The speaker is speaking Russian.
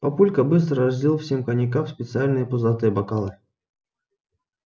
папулька быстро разлил всем коньяка в специальные пузатые бокалы